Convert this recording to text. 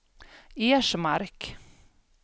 Ersmark